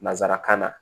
Nansarakan na